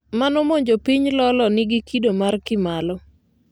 manomonjo jopiny Lolo nigi kido mar Kimalo ,